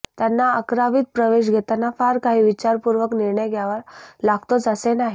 त्यांना अकरावीत प्रवेश घेताना फार काही विचारपूर्वक निर्णय घ्यावा लागतोच असे नाही